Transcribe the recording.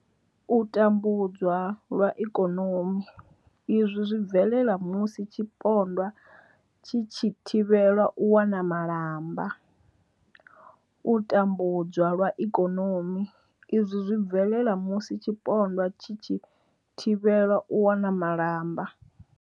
U tambudzwa lwa ikonomi izwi zwi bvelela musi tshipondwa tshi tshi thivhelwa u wana malamba. U tambudzwa lwa ikonomi izwi zwi bvelela musi tshipondwa tshi tshi thivhelwa u wana malamba.